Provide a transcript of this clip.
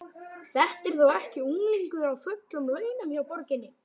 Þetta er þó ekki unglingur á fullum launum hjá borginni?